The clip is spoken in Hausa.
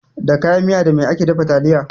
Da kayan miya da mai ake dafa taliya.